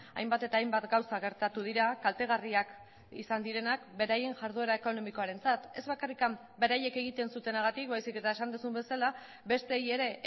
hainbat eta hainbat gauza gertatu dira kaltegarriak izan direnak beraien jarduera ekonomikoarentzat ez bakarrik beraiek egiten zutenagatik baizik eta esan duzun bezala besteei ere